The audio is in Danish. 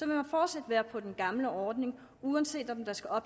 man fortsat være på den gamle ordning uanset om der skal